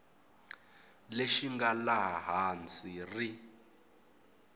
lexi nga laha hansi ri